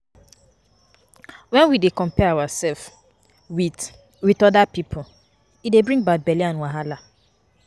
When we dey compare ourself with with oda pipo e dey bring bad belle and wahala